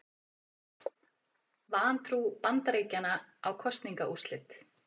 Vantrú Bandaríkjanna á kosningaúrslit